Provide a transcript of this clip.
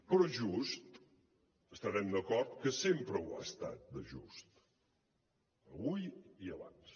però és just estarem d’acord que sempre ho ha estat de just avui i abans